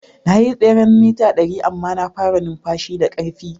Na yi tseren mita dari amma na fara numfashi da karfi.